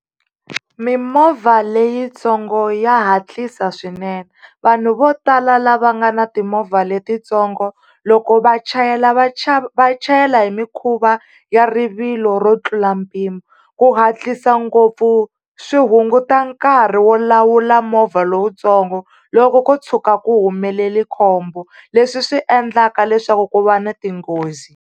Mimovha leyitsongo ya hatlisa swinene vanhu vo tala lava nga na timovha letitsongo, loko va chayela va va chayela hi mikhuva ya rivilo ro tlula mpimo. Ku hatlisa ngopfu swi hunguta nkarhi wo lawula movha lowutsongo loko ko tshuka ku humelele khombo leswi swi endlaka leswaku ku va na tinghozi.